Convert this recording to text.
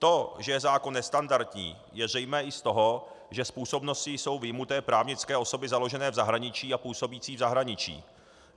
To, že je zákon nestandardní, je zřejmé i z toho, že z působnosti jsou vyjmuty právnické osoby založené v zahraničí a působící v zahraničí.